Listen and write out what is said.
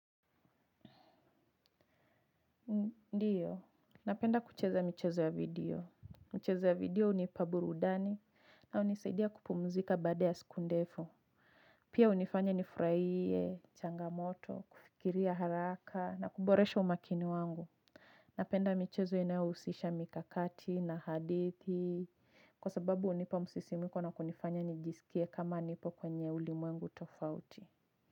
Ndiyo, napenda kucheza michezo ya video. Michezo ya video hunipa burudani na hunisaidia kupumzika baada ya siku ndefu. Pia hunifanya nifurahie changamoto, kufikiria haraka na kuboresha umakini wangu. Napenda michezo inayohusisha mikakati na hadithi. Kwa sababu hunipa msisimiko na kunifanya nijisikie kama nipo kwenye ulimwengu tofauti.